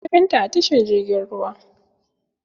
Na gan ta a tashar jirgin ruwa.